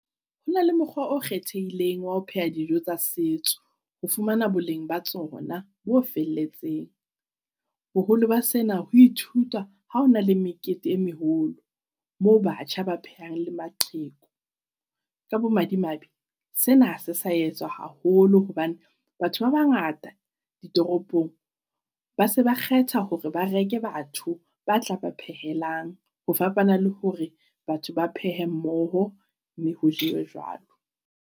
Hona le mokgwa o kgethehileng wa ho pheha dijo tsa setso ho fumana boleng ba tsona bo felletseng. Boholo ba sena, ho ithutwa ha hona le mekete e meholo moo batjha ba phehang le maqheku. Ka bo madimabe, sena ha se sa etswa haholo hobane batho ba bangata ditoropong ba se ba kgetha hore ba reke batho ba tla ba phehelang ho fapana le hore batho ba phehe mmoho, mme ho jewe jwalo.